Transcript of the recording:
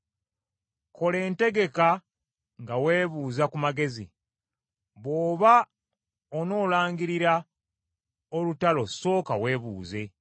Kola entegeka nga weebuuza ku magezi, bw’oba onoolangirira olutalo sooka weebuuze.